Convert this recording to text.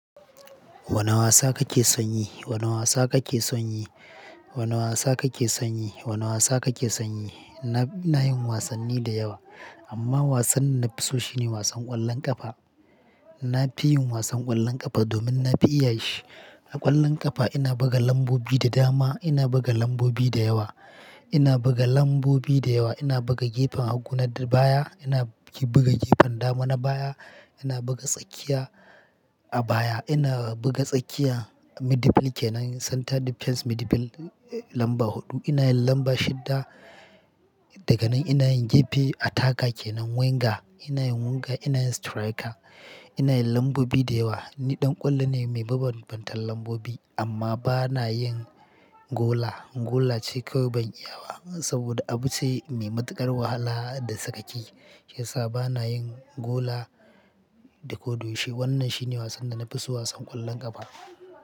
Wane wasa kake son yi? Wane wasa kake son yi? Wane wasa kake son yi? Wane wasa kake son yi? Na, ina yin wasanni da yawa amma wasanni na fi so shine wasan ƙwallon ƙafa. Na fi yin wasan ƙwallon ƙafa domin na fi iya shi. A ƙwallon ƙafa ina buga lambobi da dama, ina buga lambobi da yawa, ina buga lambobi da yawa, ina buga gefen hagu na baya, ina buga gefen dama na baya, ina buga tsakiya a baya, ina buga tsakiya, midfielder kenan center defence midfielder lamba huɗu. Ina yin lamba shidda daga nan ina yin gefe, attacker kenan winger, ina yin winger, ina yin striker, ina yin lambobi da yawa. Ni ɗan ƙwallo ne mai bambantan lambobi amma ba na yin gola. Gola ce kawai ban iya ba saboda abu ce mai matuƙar wahala da sakaki. Shiya sabana yin gola da ko dushe. Wannan shi ne wasan da na fi so, wasan ƙwallon ƙafa.